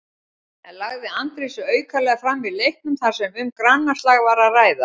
En lagði Andri sig aukalega fram í leiknum þar sem um grannaslag var að ræða?